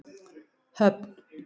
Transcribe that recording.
Höfn